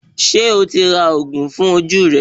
Ṣé o ti ra òògùn fún ojú rẹ